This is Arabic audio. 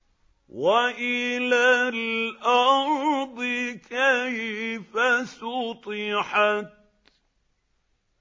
وَإِلَى الْأَرْضِ كَيْفَ سُطِحَتْ